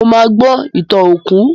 Mo ma gbó ìtàn òkú